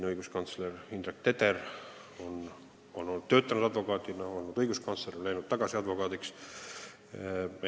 Näiteks Indrek Teder on töötanud advokaadina, siis olnud õiguskantsler ja läinud tagasi advokaaditööle.